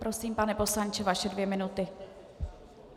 Prosím, pane poslanče, vaše dvě minuty.